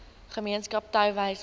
gemeenskap touwys maak